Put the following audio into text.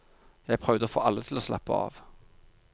Jeg prøvde å få alle til å slappe av.